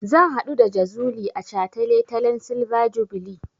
Zan haɗu da Jazuli a shataletalen silver jubilee.